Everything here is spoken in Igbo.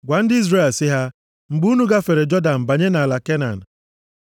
“Gwa ndị Izrel sị ha, ‘mgbe unu gafere Jọdan banye nʼala Kenan,